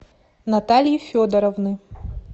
натальи федоровны